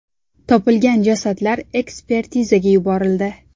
Topilgan jasadlar ekspertizaga yuborildi.